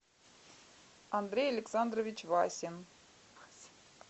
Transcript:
андрей александрович васин